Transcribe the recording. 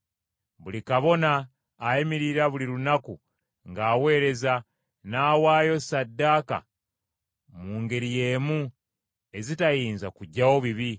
Buli kabona ayimirira buli lunaku ng’aweereza, n’awaayo ssaddaaka mu ngeri y’emu, ezitayinza kuggyawo bibi,